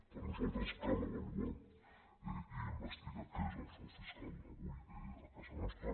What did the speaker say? per nosaltres cal avaluar i investigar què és el frau fiscal avui a casa nostra